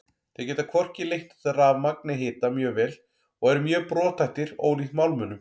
Þeir geta hvorki leitt rafmagn né hita mjög vel og eru mjög brothættir ólíkt málmunum.